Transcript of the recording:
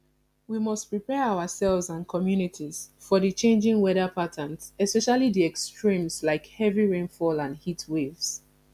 we must prepare ourselves and communities for di changing weather patterns especially di extremes like heavy rainfall and heatwaves